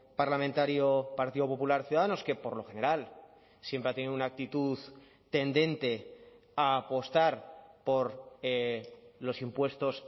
parlamentario partido popular ciudadanos que por lo general siempre ha tenido una actitud tendente a apostar por los impuestos